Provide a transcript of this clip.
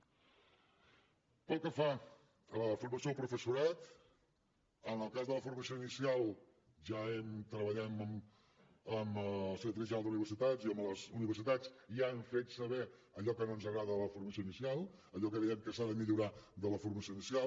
pel que fa a la formació del professorat en el cas de la formació inicial ja hem treballat amb el secretari general d’universitats i amb les universitats i ja hem fet saber allò que no ens agrada de la formació inicial allò que veiem que s’ha de millorar de la formació inicial